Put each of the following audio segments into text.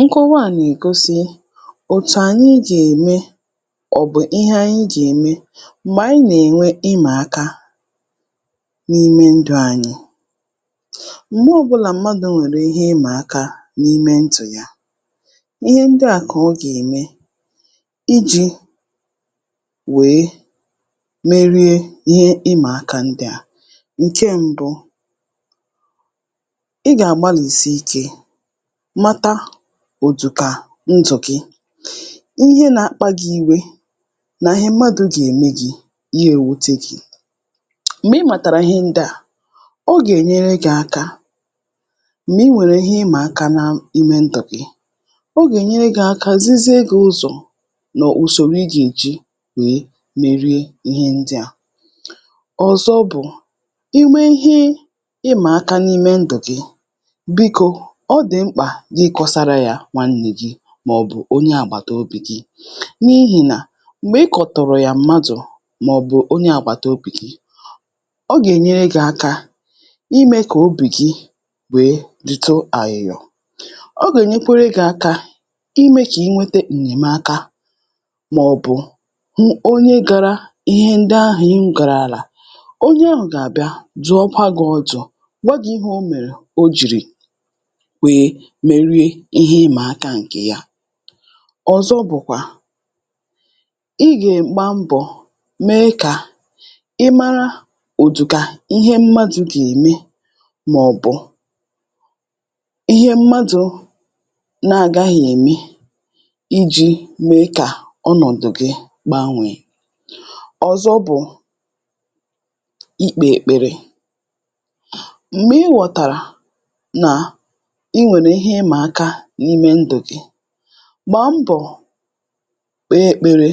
Nkọwa à nègosi òtù ànyị jème ọ̀bụ̀ ihanyị gème m̀gbè ànyị nènwe ịmà aka n’ime ndụ̄ anyị m̀gbọ ọ̀bụlà mmadụ̀ nwèrè ihe ịmà aka n’ime ndụ̀ ya ihe ndị à kọ ọ gème ijī wèe merie ihe ịmà aka ndị à ǹke mbụ ị gàgbalìsi ikē mata ụ̀dụ̀kà ndụ̀ gi, ihe nākpa gī iwe nà ihe mmadụ̄ gème gī yewute gī m̀gbè ị màtàrà ihe ndị à ọ gènyere gī aka m̀gbè I nwèrè ihe ịmà aka n’ime ndụ̀ gi. Ọ gènyere gī aka zizie gī ụzọ̀ mọ̀ ùsòrò I gèji wèe merie ihe ndị à, ọ̀zọ bụ̀ inwe ihe ịmà aka n’ime ndụ̀ gi bikō ọ dị̀ mkpà gị kọsara yā nwannē gi mọ̀bụ̀ onye àgbàtobì gi n’ihìnà m̀gbè ịkọ̀tụ̀rụ̀ yà mmadụ̀ mọ̀bụ̀ onye àgbàtobì gi ọ gènyere gī aka imē kò obì gi wèe dịtụ àyị̀yọ̀, ọ gènyekwara gī aka imē kiinweta ènyèmaka mọ̀bụ̀ hụ onye gara ihe ndị ahụ̀ ị gàràlà onye ahụ̀ gàbịà dụ̀wakwa gī ọdụ̄ gwa gī ihe o mèrè o jìrì wè merie ihe ịmà aka ǹkè ya. Ọ̀zọ bụ̀kwà, ị gàgba mbọ̀ mee kà ị mara ụ̀dụ̀kà ihe mmadụ̄ gème mọ̀bụ̀ ihe mmadụ̄ nagāghi ème ijī mee kà ọnọ̀dụ̀ gi gbanwèe. Ọ̀zọ bụ̀ ikpē èkpere, m̀gbè ị ghọ̀tàrà nà ị nwèrè ihe ịmà aka n’ime ndụ̀ gị gbàa mbọ̀ kpèe èkpere,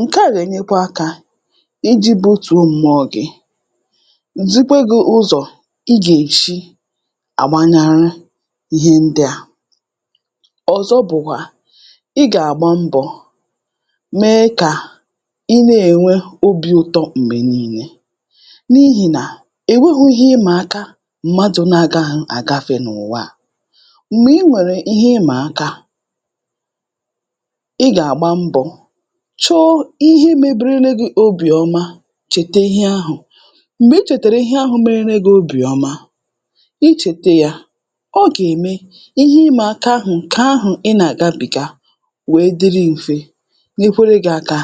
ǹke à nènyekwa akā ijē butùo m̀mụọ̄ gi, zikwe gī ụzọ̀ ị gèshi àgbanahụ ihe ndị à. Ọ̀zọ bụ̀kwà ị gàgba mbọ̀ mee kà ị ne-ènwe obī ụtọ m̀gbè niilē n’ihìnà ò nweghī ihe ịmà aka mmadụ̄ agahə̄ àgafē n’ùwaa, m̀gbe ị nwèrè ihe ịmà aka ị gàgba mbọ̀ chọọ ihe meberele gi obìọma chète ihe ahụ̀ M̀gbè ị chètèrè ihe ahụ̄ meberele gi obìọma, ị chète yā ọ gème ihe ịmà aka ahụ̀ ǹkè ahụ̀ ị nàgabị̀ga wèe dịrị mfe nyerekwe gī aka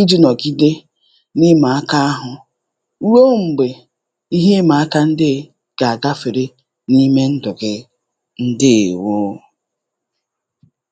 iji nọ̀gide n’ịmà aka ahụ̀ ruo m̀gbè ihe ịmà aka ndeē gàgafère n’ime ndụ̀ gi. Ǹdeèwo.